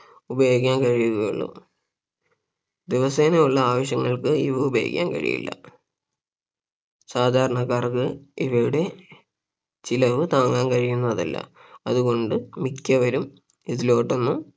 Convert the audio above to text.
ഉപയോഗിക്കാൻ കഴിയുകയുള്ളൂ ദിവസേനയുള്ള ആവശ്യങ്ങൾക്ക് ഇവ ഉപയോഗിക്കാൻ കഴിയില്ല സാധാരണക്കാർക്ക് ഇവയുടെ ചിലവ് താങ്ങാൻ കഴിയുന്നതല്ല അതുകൊണ്ട് മിക്കവരും ഇതിലോട്ട് ഒന്നും